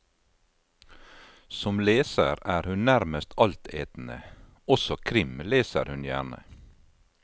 Som leser er hun nærmest altetende, også krim leser hun gjerne.